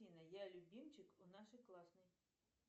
афина я любимчик у нашей классной